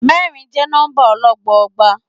Mẹ́rin jẹ́ nọ́mbà ọlọ́gbọọgba.